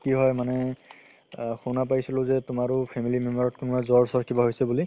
কি হয় মানে আ শুনা পাইছিলো তুমাৰো family member ত তুমাৰ জ্বৰ চৰ কিবা হৈছে বুলি